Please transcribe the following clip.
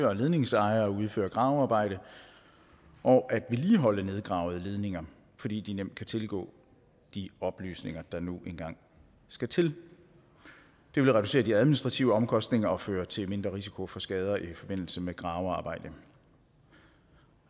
og ledningsejere at udføre gravearbejde og at vedligeholde nedgravede ledninger fordi de nemt kan tilgå de oplysninger der nu engang skal til det vil reducere de administrative omkostninger og føre til mindre risiko for skader i forbindelse med gravearbejde